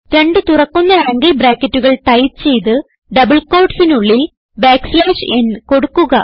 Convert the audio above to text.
രണ്ട് തുറക്കുന്ന ആംഗിൾ ബ്രാക്കറ്റുകൾ ടൈപ്പ് ചെയ്ത് ഡബിൾ quotesനുള്ളിൽ n കൊടുക്കുക